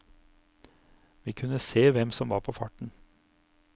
Vi kunne se hvem som var på farten.